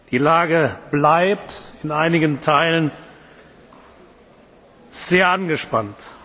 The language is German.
Die Lage bleibt in einigen Teilen sehr angespannt.